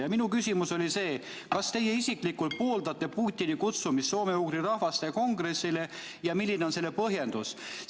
Ja minu küsimus oli see: kas teie isiklikult pooldate Putini kutsumist soome-ugri rahvaste kongressile ja milline on selle põhjendus?